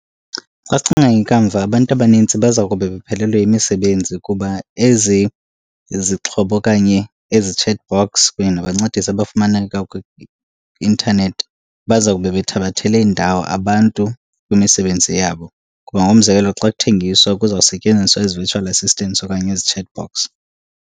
Xa sicinga ngekamva abantu abanintsi baza kube bephelelwe yimisebenzi kuba ezi izixhobo okanye ezi chatbots kunye nabancedisi abafumaneka kwi-intanethi bazawube bethabathele indawo abantu kwimisebenzi yabo. Kuba ngokomzekelo xa kuthengiswa kuzawusetyenziswa ezi virtual assistants okanye ezichatbots.